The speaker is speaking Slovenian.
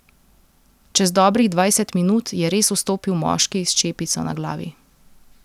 Čez dobrih dvajset minut je res vstopil moški s čepico na glavi.